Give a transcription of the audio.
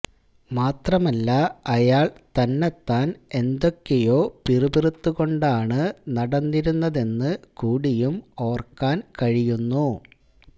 മാത്രമല്ല അയാൾ തന്നത്താൻ എന്തൊക്കെയോ പിറുപിറുത്തുകൊണ്ടാണ് നടന്നിരുന്നതെന്ന് കൂടിയും ഓർക്കാൻ കഴിയുന്നു